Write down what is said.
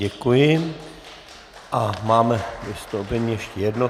Děkuji a máme vystoupení ještě jedno.